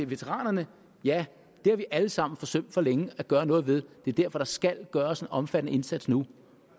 veteranerne har vi alle sammen forsømt for længe at gøre noget ved det er derfor der skal gøres en omfattende indsats nu